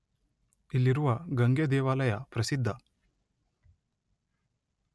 ಇಲ್ಲಿರುವ ಗಂಗೆ ದೇವಾಲಯ ಪ್ರಸಿದ್ಧ.